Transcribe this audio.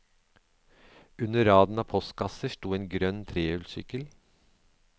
Under raden av postkasser sto en grønn trehjulssykkel.